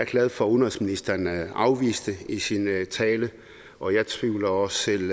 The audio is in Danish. glad for at udenrigsministeren afviste det i sin tale og jeg tvivler også selv